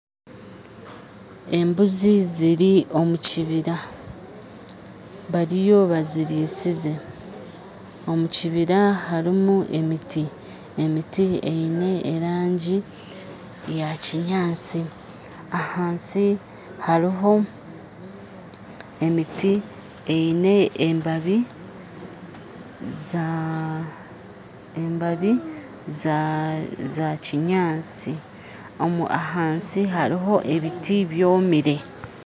Embuzi ziri omu kibira bariyo bazirisize. Omu kibira harimu emiti, emiti eine erangyi ya kinyaatsi ahansi hariho emiti eine embabi za embabi za za kinyaatsi omu ahansi hariho ebiti byomere